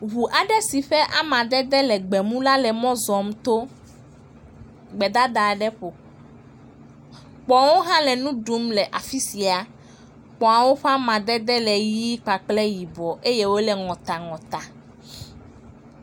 Ʋu aɖe si ƒe amadede le gbemu la, le mɔ zɔm tɔ gbedada aɖe ƒo. Kpɔ̃wo hã le nu ɖum le afisia. Kpɔ̃awo ƒe amadede le ɣie kple yibɔ eye wole ŋɔtaŋɔta.